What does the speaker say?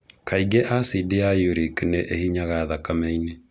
Kaingĩ acidi ya uric nĩ ĩhinyaga thakameinĩ.